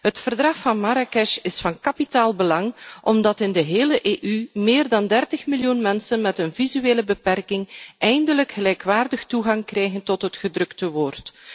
Het Verdrag van Marrakesh is van kapitaal belang omdat in de hele EU meer dan 30 miljoen mensen met een visuele beperking eindelijk gelijkwaardig toegang krijgen tot het gedrukte woord.